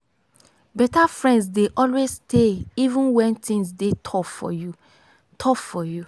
beta friends dey always stay even wen things dey tough for you. tough for you.